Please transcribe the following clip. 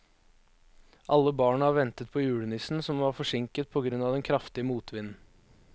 Alle barna ventet på julenissen, som var forsinket på grunn av den kraftige motvinden.